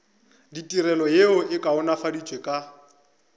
ditirelo yeo e kaonafaditšwego ka